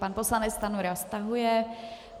Pan poslanec Stanjura stahuje.